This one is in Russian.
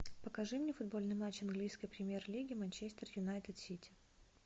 покажи мне футбольный матч английской премьер лиги манчестер юнайтед сити